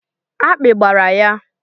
Akpị gbara ya.